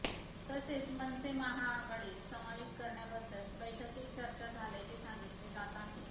तसेच मनसे महाआगाडीत समावेश करण्याबद्दस बैठकीत चर्चा झाल्याचे सांगितले जात आहे